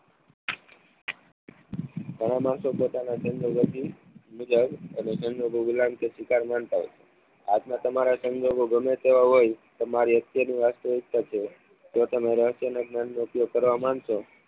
ઘણા માણસો પોતાના સ્વીકાર માનતા હોય આજના તમારા સંજોગો ગમે તેવા હોય તમારી અત્યારની વાસ્તવિકતા છે. તેઓ તમે રહ્શ્યના જ્ઞાનો ઉપયોગ કરવા માંગશો